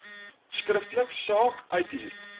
skriftelik saak uithuur